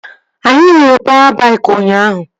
Anyị hụrụ pawa baik ụnyaahụ